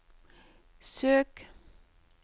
søk